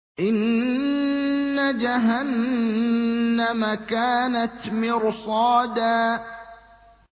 إِنَّ جَهَنَّمَ كَانَتْ مِرْصَادًا